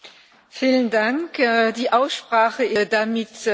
Die Aussprache ist damit geschlossen.